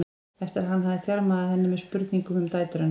eftir að hann hafði þjarmað að henni með spurningum um dætur hennar.